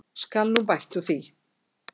Skal nú bætt úr því.